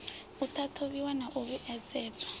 u ṱhathuvhiwa na u vhuedzedza